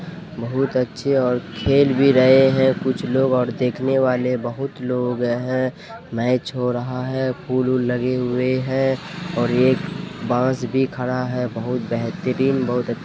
बहुत अच्छे और खेल भी रहे है कुछ लोग और देखने वाले बहुत लोग हैं मेच हो रहा है फूल वुल लगे हुए है और एक बांस भी खड़ा है बेहतरीन बहुत--